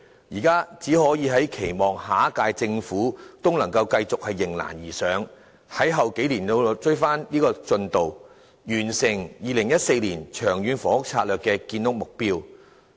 現在只可以期望下一屆政府繼續迎難而上，在往後數年追回進度，完成2014年《長遠房屋策略》的建屋目標。